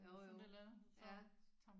Jo jo